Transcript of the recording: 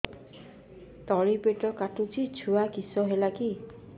ତଳିପେଟ କାଟୁଚି ଛୁଆ କିଶ ହେଲା କି